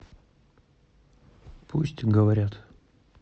пусть говорят